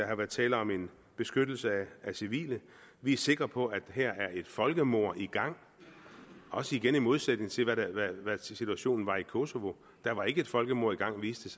har været tale om en beskyttelse af civile vi er sikre på at her er et folkemord i gang igen i modsætning til hvad situationen var i kosovo der var ikke et folkemord i gang viste